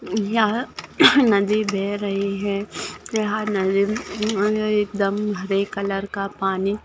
यहाँ नदी बह रही है यहाँ नदी एकदम हरे कलर का पानी--